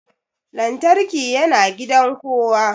Lantarki yana gidan kowa